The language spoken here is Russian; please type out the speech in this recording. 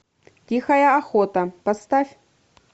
тихая охота поставь